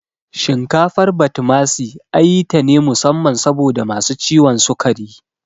Shinkafar Batimasi ayi tane musamman saboda masu ciwon sukari